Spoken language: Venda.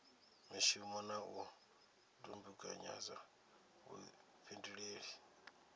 mishumo na u dumbekanya vhuifhinduleli